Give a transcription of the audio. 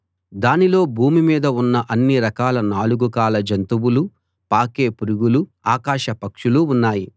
దానిలో భూమి మీద ఉన్న అన్నిరకాల నాలుగు కాళ్ళ జంతువులూ పాకే పురుగులూ ఆకాశ పక్షులూ ఉన్నాయి